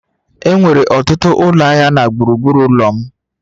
Enwere ọtụtụ ụlọ ahịa na gburugburu ụlọ m